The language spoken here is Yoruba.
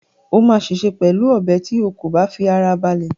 O máa ṣèṣe pẹ̀lú ọ̀bẹ tí o kò bá fi ara balẹ̀